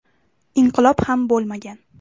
Inqilob ham bo‘lmagan.